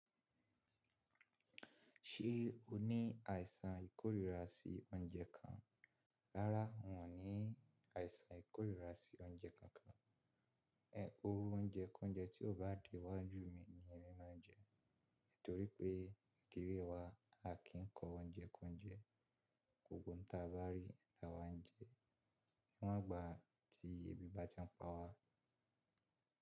Ṣé o ní àìsàn ìkórìíra sí oúnjẹ kan? Rárá, n ò ní àìsàn ìkórìíra sí oúnjẹ kankan. Iru oúnjẹ k'ounjẹ tí ó bá dé wá jù mi ni ẹmí máa ń jẹ. Nítorí pé ní ilé wa, a kì í kọ oúnjẹ k'ounjẹ. Ohun tá bá rí la wá ń jẹ. Níwọn ìgbà tí ebi bá ti ń pa wá.